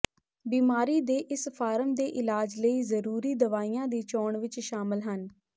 ਬੀਮਾਰੀ ਦੇ ਇਸ ਫਾਰਮ ਦੇ ਇਲਾਜ ਲਈ ਜ਼ਰੂਰੀ ਦਵਾਈਆਂ ਦੀ ਚੋਣ ਵਿੱਚ ਸ਼ਾਮਲ ਹਨ